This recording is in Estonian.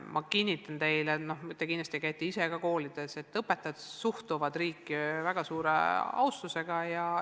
Ma kinnitan teile – te ise käite ka koolides –, et õpetajad suhtuvad riiki väga suure austusega.